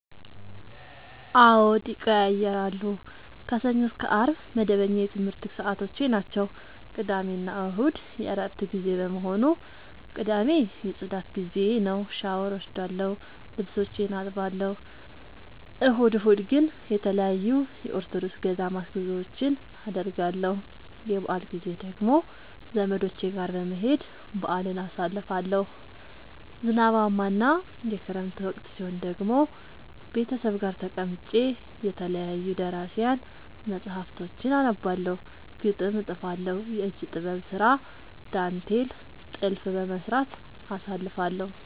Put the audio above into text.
አዎድ ይቀየያራሉ። ከሰኞ እስከ አርብ መደበኛ የትምረት ሰዓቶቼናቸው ቅዳሜና እሁድ የእረፍት ጊዜ በመሆኑ። ቅዳሜ የፅዳት ጊዜዬ ነው። ሻውር እወስዳለሁ ልብሶቼን አጥባለሁ። እሁድ እሁድ ግን ተለያዩ የኦርቶዶክስ ገዳማት ጉዞወችን አደርገለሁ። የበአል ጊዜ ደግሞ ዘመዶቼ ጋር በመሄድ በአልን አሳልፋለሁ። ዝናባማ እና የክረምት ወቅት ሲሆን ደግሞ ቤተሰብ ጋር ተቀምጬ የተለያዩ ደራሲያን መፀሀፍቶችን አነባለሁ፤ ግጥም እጥፋለሁ፤ የእጅ ጥበብ ስራ ዳንቴል ጥልፍ በመስራት አሳልፍለሁ።